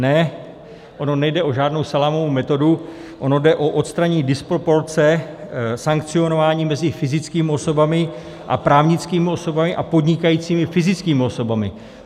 Ne, ono nejde o žádnou salámovou metodu, ono jde o odstranění disproporce sankcionování mezi fyzickými osobami a právnickými osobami a podnikajícími fyzickými osobami.